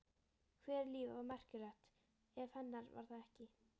Hvers líf var merkilegt ef hennar var það ekki?